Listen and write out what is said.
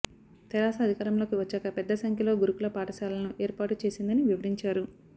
తెరాస అధికారంలోకి వచ్చాక పెద్ద సంఖ్యలో గురుకుల పాఠశాలలను ఏర్పాటు చేసిందని వివరించారు